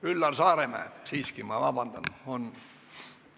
Üllar Saaremäe, siiski – vabandust!